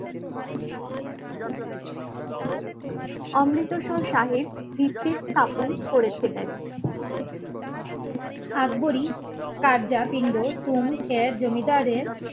অমৃতসর সাহেব করেছিলেন আকবরী কারজাপিণ্ড, চুন, এয়ার জমিদারের